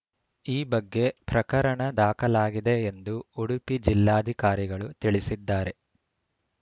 ಈ ಬಗ್ಗೆ ಪ್ರಕರಣ ದಾಖಲಾಗಿದೆ ಎಂದು ಉಡುಪಿ ಜಿಲ್ಲಾಧಿಕಾರಿಗಳು ತಿಳಿಸಿದ್ದಾರೆ